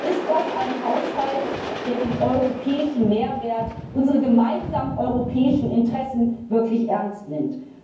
Ist das ein Haushalt, der den europäischen Mehrwert, unsere gemeinsamen europäischen Interessen wirklich ernst nimmt?